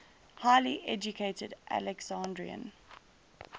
highly educated alexandrian